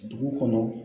Dugu kɔnɔ